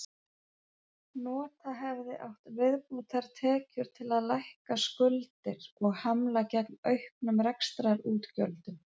Nota hefði átt viðbótartekjur til að lækka skuldir og hamla gegn auknum rekstrarútgjöldum.